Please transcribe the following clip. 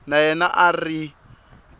na yena a a ri